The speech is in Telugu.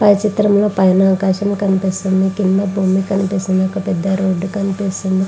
పైన చిత్రంలో ఆకాశం కనిపిస్తుంది. భూమి కనిపిస్తుంది. కింద రోడ్ కనిపిస్తుంది.